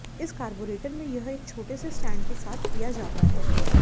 इस कार्बोरेटर में यह एक छोटे से स्टैंड के साथ किया जाता है